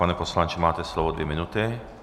Pane poslanče, máte slovo dvě minuty.